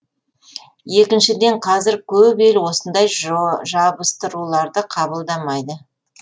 екіншіден қазір көп ел осындай жабыстыруларды қабылдамайды